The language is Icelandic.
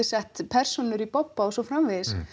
sett persónur í bobba og svo framvegis